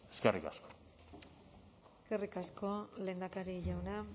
eskerrik asko eskerrik asko lehendakari jauna